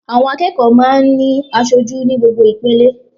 Àwọn akẹ́kọ̀ọ́ máa ń ní asojú ní gbogbo ìpele